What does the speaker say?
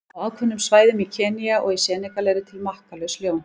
Á ákveðnum svæðum í Kenía og í Senegal eru til makkalaus ljón.